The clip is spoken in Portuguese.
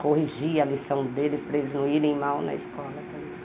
Corrigia a lição deles para eles não irem mal na escola também.